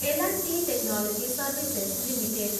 L and T technology services limited